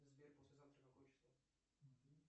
сбер послезавтра какое число